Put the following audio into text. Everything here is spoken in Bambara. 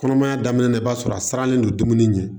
Kɔnɔmaya daminɛ la i b'a sɔrɔ a siranlen don dumuni ɲɛ